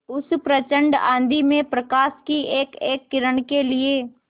उस प्रचंड आँधी में प्रकाश की एकएक किरण के लिए